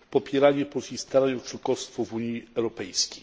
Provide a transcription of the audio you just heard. w popieranie polskich starań o członkostwo w Unii Europejskiej.